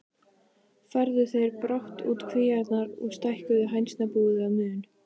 Færðu þeir brátt út kvíarnar og stækkuðu hænsnabúið að mun.